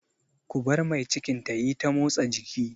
Ku bar mai cikin ta yi ta motsa jiki!